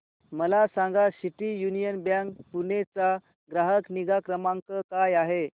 मला सांगा City Union Bank Pune चा ग्राहक निगा क्रमांक काय आहे